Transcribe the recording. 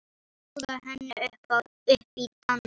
Bjóða henni upp í dans!